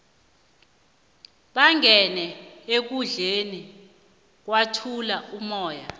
bangene ekundleni kwathula umoya